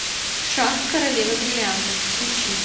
шах королева бриллиантов включи